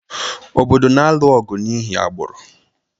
obodo na-alụ ọgụ n’ihi agbụrụ